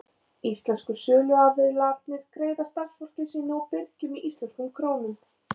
Íslensku söluaðilarnir greiða starfsfólki sínu og birgjum í íslenskum krónum.